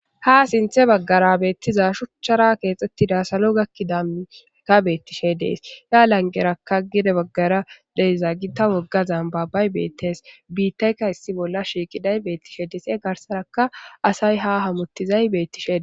ha sinthe baggara beettiza shuchchara keexxettida salo gakkidaka beettishe dees ya langerakka gide baggara deyza gi ta wogga zambabay beettes biittayka issi bolla shiiqiday beettishe deese garsaraka asay ha hamottizay bettishe